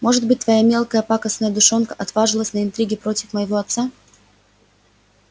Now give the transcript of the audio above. может быть твоя мелкая пакостная душонка отважилась на интриги против моего отца